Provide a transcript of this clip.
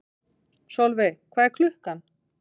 Solveig, hvað er klukkan?